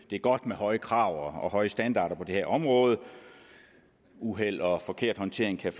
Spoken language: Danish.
godt med høje krav og høje standarder på det her område uheld og forkert håndtering kan